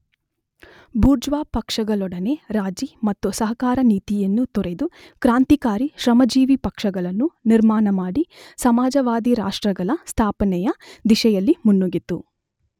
Bourgeois ಪಕ್ಷಗಳೊಡನೆ ರಾಜಿ ಮತ್ತು ಸಹಕಾರ ನೀತಿಯನ್ನು ತೊರೆದು ಕ್ರಾಂತಿಕಾರಿ ಶ್ರಮಜೀವಿಪಕ್ಷಗಳನ್ನು ನಿರ್ಮಾಣಮಾಡಿ ಸಮಾಜವಾದಿರಾಷ್ಟ್ರಗಳ ಸ್ಥಾಪನೆಯ ದಿಶೆಯಲ್ಲಿ ಮುನ್ನುಗ್ಗಿತು.